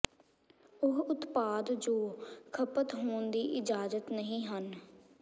ਉਹ ਉਤਪਾਦ ਜੋ ਖਪਤ ਹੋਣ ਦੀ ਇਜਾਜ਼ਤ ਨਹੀਂ ਹਨ